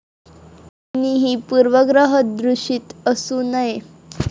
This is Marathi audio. कुणीही पूर्वग्रहदूषित असू नये.